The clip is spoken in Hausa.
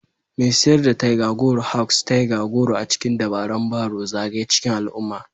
Mai siyar da tiger goro Hawks tiger goro a cikin dabaran barrow zagaye cikin al'umma